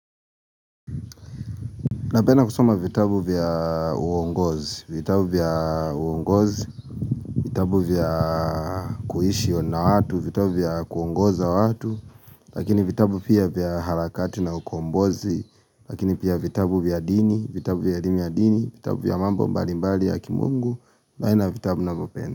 Napenda kusoma vitabu vya uongozi, vitabu vya kuishi na watu, vitabu vya kuongoza watu Lakini vitabu pia vya harakati na ukombozi, lakini pia vitabu vya dini, vitabu vya elimu ya dini, vitabu vya mambo mbali mbali ya kimungu na aina ya vitabu navyopenda.